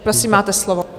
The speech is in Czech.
Prosím, máte slovo.